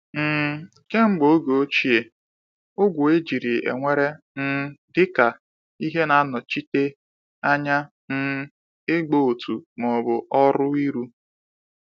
um Kemgbe oge ochie, ogwe ejiri ewere um dị ka ihe na-anọchite anya um ịgba ọtọ ma ọ bụ ọrụ ịrụ.